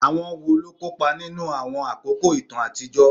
Àwọn wo ló kópa nínú àwọn àkókò ìtàn àtijọ́?